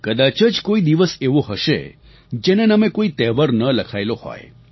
કદાચ જ કોઈ દિવસ એવો હશે જેના નામે કોઈ તહેવાર ન લખાયેલો હોય